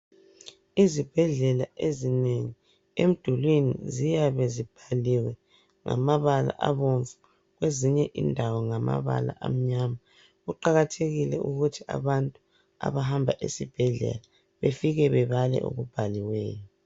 Ezibhedlela ezinengi emidulwini ziyabe zibhaliwe ngamabala abomvu kwezinye indawo ngamnyama, kuqakathekile ukuthi abantu abahamba esibhedlela befike bebale okubhaliweyo.